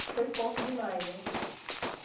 Que foi forte demais, né?